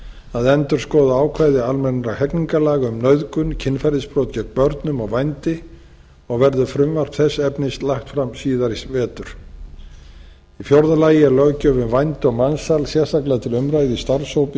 að endurskoða ákvæði almennra hegningarlaga um nauðgun kynferðisbrot gegn börnum og vændi og verður frumvarp þess efnis lagt fram síðar í vetur í fjórða lagi er löggjöf um vændi og mansal sérstaklega til umræðu í starfshópi